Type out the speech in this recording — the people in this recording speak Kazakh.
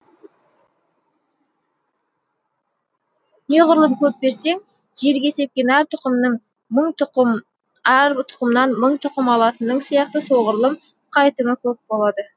неғұрлым көп берсең жерге сепкен әр тұқымнан мың тұқым алатының сияқты соғұрлым қайтымы көп болады